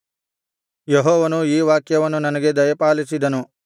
ಯೆಹೋವನು ಈ ವಾಕ್ಯವನ್ನು ನನಗೆ ದಯಪಾಲಿಸಿದನು